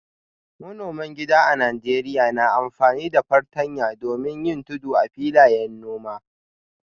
Manoman gida a Najeriya na amfani da fartanya domin yin tudu a filayen noma.